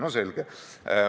No selge.